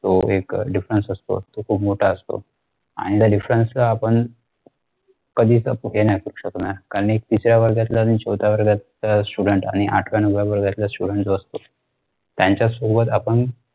तो एक अह difference असतो तो खूप मोठा असतोआणि त्या difference ला आपण कधीच कुठे नाही करू नाही शकणार कारण एक तिसऱ्या वर्गातला आणि चौथ्या वर्गातला student आणि आठव्या नवव्या वर्गातला student जो असतो त्यांच्यासोबत आपण